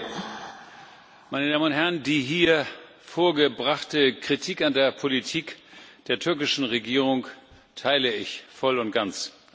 Herr Präsident, meine Damen und Herren! Die hier vorgebrachte Kritik an der Politik der türkischen Regierung teile ich voll und ganz.